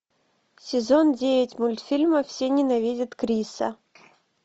сезон девять мультфильма все ненавидят криса